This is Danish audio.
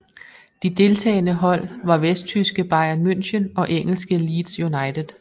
De deltagende hold var vesttyske Bayern München og engelske Leeds United